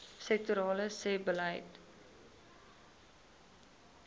sektorale sebbeleid